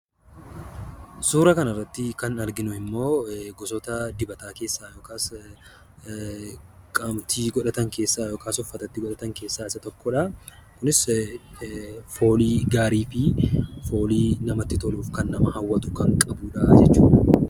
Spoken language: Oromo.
Suura kanarratti kan arginu immoo gosoota dibataa keessaa yookaas qaamatti godhatan keessaa yookaas uffatatti godhatan keessaa isa tokko dha. Kunis foolii gaarii fi foolii namatti tolu, kan nama hawwatu kan qabuudhaa jechuudha.